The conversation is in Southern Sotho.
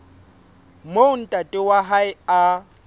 moo ntate wa hae a